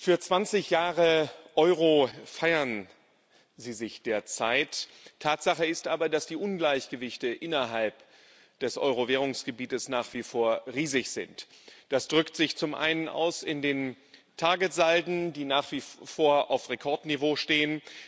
Für 20 Jahre Euro feiern Sie sich derzeit. Tatsache ist aber, dass die Ungleichgewichte innerhalb des Euro Währungsgebiets nach wie vor riesig sind. Das drückt sich zum einen aus in den Targetsalden, die nach wie vor auf Rekordniveau stehen.